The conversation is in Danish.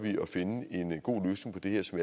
at finde en god løsning på det her som